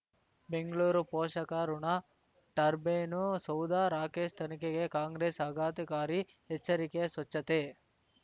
ಬೆಂಗಳೂರು ಪೋಷಕಋಣ ಟರ್ಬೈನು ಸೌಧ ರಾಕೇಶ್ ತನಿಖೆಗೆ ಕಾಂಗ್ರೆಸ್ ಆಘಾತಕಾರಿ ಎಚ್ಚರಿಕೆ ಸ್ವಚ್ಛತೆ